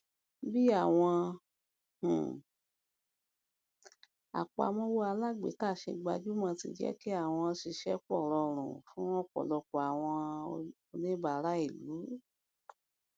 bí àwọn um apàmọwọ alágbèéká ṣe gbajúmọ ti jẹ kí àwọn ṣíṣèpọ rọrùn fún ọpọlọpọ àwọn oníbàárà ìlú